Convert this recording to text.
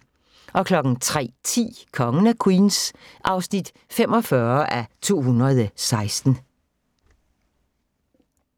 03:10: Kongen af Queens (45:216)